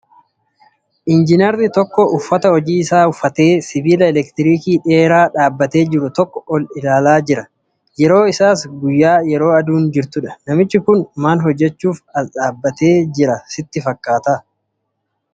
Injiinarii tokko uffata hojii isaa uffatee sibiila elektriikii dheeraa dhaabbatee jiru tokko ol ilaalaa jirudha. Yeroon isaas guyyaa yeroo aduun jirtudha. Namichi kun maal hojjachuuf as dhaabbatee jira sitti fakkaata?